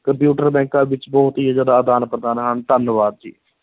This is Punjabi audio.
ਕੰਪਿਊਟਰ ਬੈਂਕਾਂ ਵਿੱਚ ਬਹੁਤ ਹੀ ਜ਼ਿਆਦਾ ਆਦਾਨ-ਪ੍ਰਦਾਨ ਹਨ, ਧੰਨਵਾਦ ਜੀ।